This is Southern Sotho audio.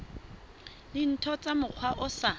dintho ka mokgwa o sa